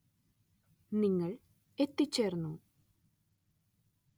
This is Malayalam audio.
നിങ്ങൾ എത്തിച്ചേർന്നു.